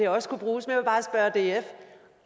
også kunne bruges